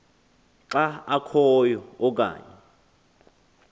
xa akhoyo okanye